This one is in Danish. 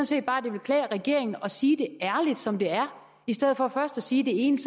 set bare det ville klæde regeringen at sige det ærligt som det er i stedet for først at sige det ene